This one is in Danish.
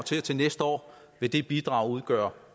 til og til næste år vil det bidrag udgøre